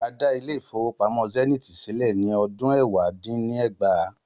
A dá Ilé-ìfowópamó Zenith sílè ni ọdún ẹ̀wá dín ní ẹgbàá.